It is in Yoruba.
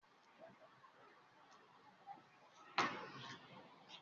Ǹjẹ́ màá le fẹ́ àbúrò mi?